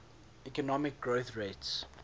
economic growth rates